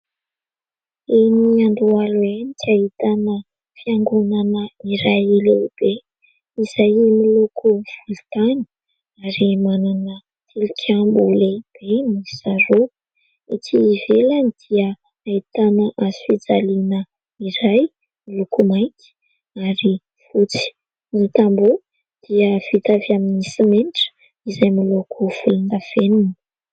Eny Andohalo eny dia ahitana fiangonana iray lehibe izay miloko volontany ary manana tilikambo lehibe miisa roa. Ety ivelany dia ahitana hazofijaliana iray miloko mainty ary fotsy. Ny tambo dia vita avy amin'ny simenitra izay miloko volondavenona.